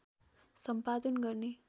सम्पादन गर्ने